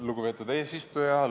Lugupeetud eesistuja!